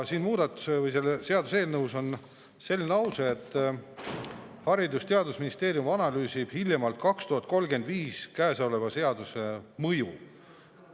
Selles seaduseelnõus on selline lause, et Haridus‑ ja Teadusministeerium analüüsib hiljemalt 2035. aastal käesoleva seaduse mõju.